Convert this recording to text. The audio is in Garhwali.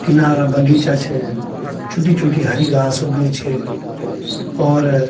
किनारा बगीचा छ छुटी-छुटी हरी घास उगी छ और --